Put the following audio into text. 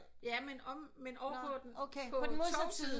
Ja men omme ovre på tog siden